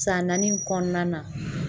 San naani kɔnɔna na.